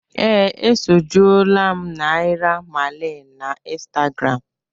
Ee, esojuola m Naira Marley na Instagram